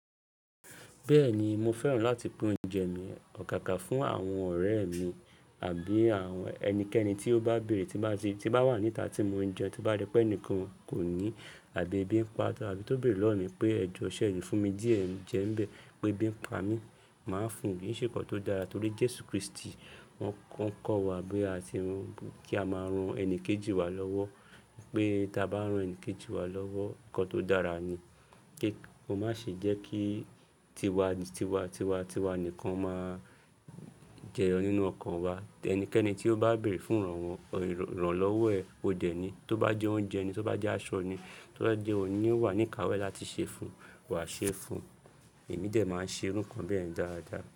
Bẹ́ẹ̀ni, mo fẹ́ràn láti pín oúnjẹ mi, àgàgà fún àwọn ọ̀rẹ́ mi àbí àwọn ẹnikẹ́ni tí ó bá bèrè tí bá wà níta tí mo ń jẹ, tí bá rí pé ẹnìkan kò ní àbí ebi ń pa á, àbí tó béèrè lọ́wọ́ mi pé ẹjọ sẹ́ e le fún mi díẹ̀, jẹ n bẹ́ẹ̀, pé ebi ń pa mi. Màá fún un, kí í ṣe nnkan tó dára torí Jésù Kristi. Wọ́n ń kọ́ wa pé a ti run, kí a máa ran ẹni kejì wa lọ́wọ́. Pé tí a bá ran ẹni kejì wa lọ́wọ́, nnkan tó dára ni. Kí ó má ṣe jẹ́ kí tiwa, tiwa, tiwa, tiwa nìkan máa jẹun nínú ọkàn wa. Ẹnikẹ́ni tí ó bá bèrè fún ìrànwọ́, ìrànlọ́wọ́ ẹ, ó dẹ̀ ni. Tí ó bá jẹ oúnjẹ ni, tí ó bá jẹ́ aṣọ ni, tí ó bá jẹ́ òní wà ní ìkáwé láti ṣe fun, wàá ṣe fun. Èmi dẹ̀ máa ń ṣe irú nǹkan bẹ́ẹ̀ dáradára.